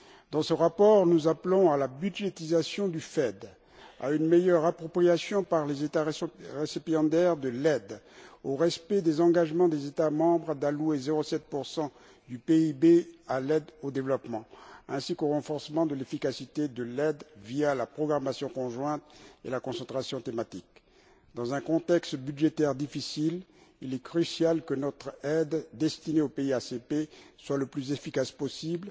Dans ce rapport, nous appelons à la budgétisation du FED, à une meilleure appropriation par les États récipiendaires de l'aide, au respect des engagements des États membres d'allouer 0,7 du PIB à l'aide au développement ainsi qu'au renforcement de l'efficacité de l'aide via la programmation conjointe et la concentration thématique. Dans un contexte budgétaire difficile, il est crucial que notre aide destinée aux pays ACP soit le plus efficace possible